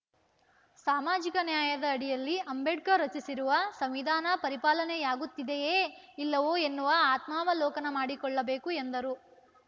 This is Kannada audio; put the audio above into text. ಸಾಮಾಜಿಕ ನ್ಯಾಯದ ಅಡಿಯಲ್ಲಿ ಅಂಬೇಡ್ಕರ್‌ ರಚಿಸಿರುವ ಸಂವಿಧಾನ ಪರಿಪಾಲನೆಯಾಗುತ್ತಿದೆಯೇ ಇಲ್ಲವೋ ಎನ್ನುವ ಆತ್ಮಾವಲೋಕನ ಮಾಡಿಕೊಳ್ಳಬೇಕು ಎಂದರು